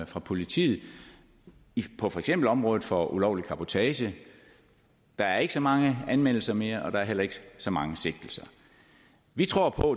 fra politiet på for eksempel området for ulovlig cabotage der er ikke så mange anmeldelser mere og der er heller ikke så mange sigtelser vi tror på